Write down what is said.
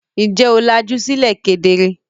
Ǹjẹ́ o làjú sílẹ̀ kedere?